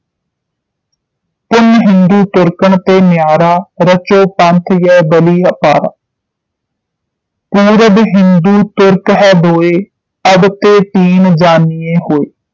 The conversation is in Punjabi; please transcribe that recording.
ਪੁਨ ਹਿੰਦੂ ਤੁਰਕਨ ਤੇ ਯਾਰਾ ਰਚੋਂ ਪੰਥ ਯਹਿ ਬਲੀ ਅਪਾਰਾ ਪੂਰਬ ਹਿੰਦੂ ਤੁਰਕ ਹੈ ਦੋਇ ਅਬ ਤੇ ਤੀਨ ਜਾਨੀਏ ਹੋਇ